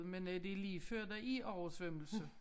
Men øh det ligefør der er oversvømmelse